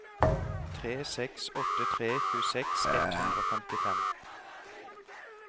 tre seks åtte tre tjueseks ett hundre og femtifem